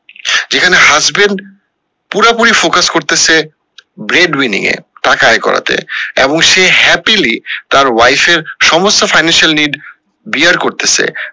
এখানে husband পুরো পুরি focus করতেসে grade wining এ টাকা আয় করা তে এবং সে happily তার wife এর সমস্ত financial need bear করতেসে